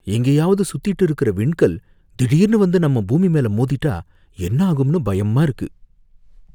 எங்கேயாவது சுத்திட்டு இருக்குற விண்கல் திடீர்னு வந்து நம்ம பூமி மேல மோதிட்டா என்ன ஆகும்னு பயமா இருக்கு.